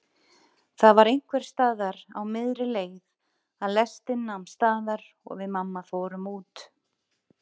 Það var einhversstaðar á miðri leið að lestin nam staðar og við mamma fórum út.